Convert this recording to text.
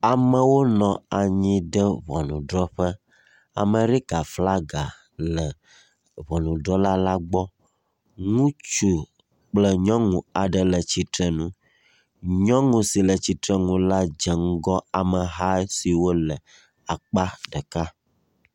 Amewo nɔ anyi ɖe ŋɔnudrɔ̃ƒe. Amerika flagi le ŋɔnudrɔ̃la la gbɔ. Ŋutsu kple nyɔnu aɖe le tsitre ŋu. Nyɔnu si le tsitre ŋu la dzɔ ŋgɔ ameha siwo le akpa ɖeka.